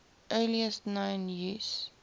earliest known use